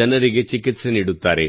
ಜನರಿಗೆ ಚಿಕಿತ್ಸೆ ನೀಡುತ್ತಾರೆ